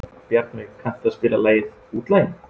Bjarnveig, kanntu að spila lagið „Útlaginn“?